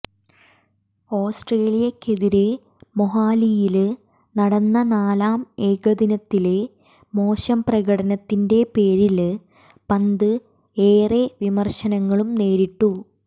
ഓസ്ട്രേലിയക്കെതിരേ മൊഹാലിയില് നടന്ന നാലാം ഏകദിനത്തിലെ മോശം പ്രകടനത്തിന്റെ പേരില് പന്ത് ഏറെ വിമര്ശനങ്ങളും നേരിട്ടു